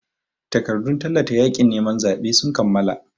Takardun tallata yaƙin neman zaɓen sun kammala.